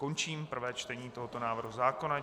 Končím prvé čtení tohoto návrhu zákona.